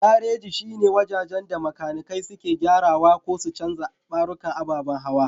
Gareji shine wajen da makanikai suke gyarawa ko su canja ɓarukan ababan hawa.